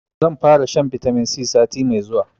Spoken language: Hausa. Zan fara shan bitamin C sati mai zuwa